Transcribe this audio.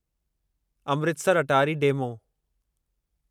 Amritsar Attari demo